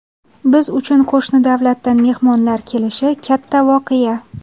Biz uchun qo‘shni davlatdan mehmonlar kelishi katta voqea.